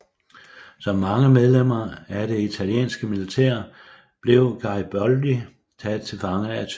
Som mange medlemmer af det italienske militær blev Gariboldi taget til fange af tyskerne